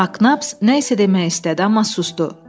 Maknaps nəsə demək istədi, amma susdu.